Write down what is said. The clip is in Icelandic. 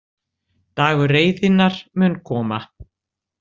Dagur reiðinnar mun koma.